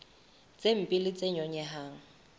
tse mpe le tse nyonyehang